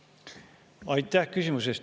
Aitäh küsimuse eest!